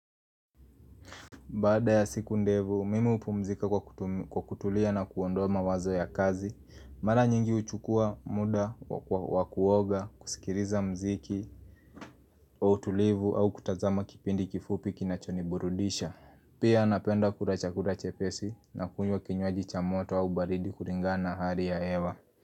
Baada ya siku ndefu, mimi hupumzika kwa kutulia na kuondoa mawazo ya kazi Mara nyingi huchukua muda, wa kuoga, kusikiliza muziki, kwa utulivu au kutazama kipindi kifupi kinachoniburudisha Pia napenda kula chakula chepesi na kunywa kinywaji cha moto au baridi kulingana na hali ya hewa.